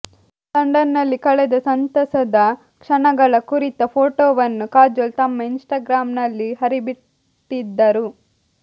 London ನಲ್ಲಿ ಕಳೆದ ಸಂತಸದ ಕ್ಷಣಗಳ ಕುರಿತ ಫೋಟೋವನ್ನು ಕಾಜೋಲ್ ತಮ್ಮ ಇನ್ಟಾಗ್ರಾಮ್ ನಲ್ಲಿ ಹರಿಬಿಟ್ಟಿದ್ದರು